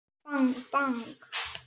Bang bang.